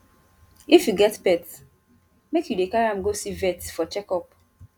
if you get pet make you dey carry am go see vet for checkup